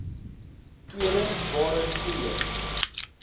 tweede waarin koeie